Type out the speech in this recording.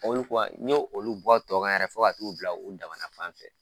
Olu bɔ yan n y' olu bɔ tɔ kan yɛrɛ fo ka t'u bila u dama na fanfɛ